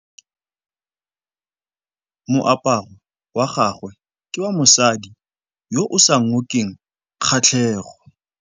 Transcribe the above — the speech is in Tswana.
Moaparô wa gagwe ke wa mosadi yo o sa ngôkeng kgatlhegô.